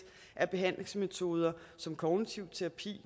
af behandlingsmetoder som kognitiv terapi